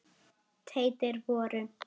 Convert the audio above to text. teitir voru